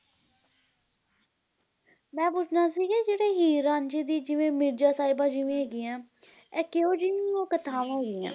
ਮੈਂ ਪੁੱਛਣਾ ਸੀ ਕਿ ਜਿਵੇ ਹੀਰ ਰਾਂਝੇ ਦੀ ਜਿਵੇ ਮਿਰਜ਼ਾ ਸਾਹਿਬਾ ਜਿਵੇ ਹੈਗੀਆਂ ਇਹ ਕਿਹੋ ਜਹੀਆਂ ਕਥਾਵਾਂ ਹੋਈਆਂ